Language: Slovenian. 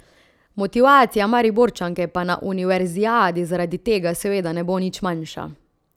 Motivacija Mariborčanke pa na univerzijadi zaradi tega seveda ne bo nič manjša.